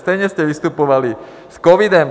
Stejně jste vystupovali s covidem.